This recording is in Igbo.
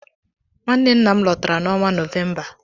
Nwanne nna m lotara n'ọnwa Novemba.